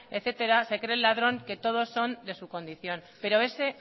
etcétera se cree el ladrón que todos son de su condición pero ese